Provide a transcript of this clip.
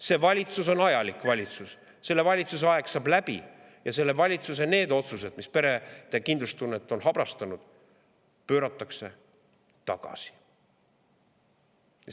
See valitsus on ajalik valitsus, selle valitsuse aeg saab läbi ja selle valitsuse otsused, mis perede kindlustunnet on habrastanud, pööratakse tagasi.